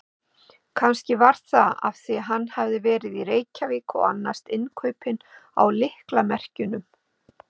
Kannski var það af því hann hafði verið í Reykjavík og annast innkaupin á lyklamerkjunum.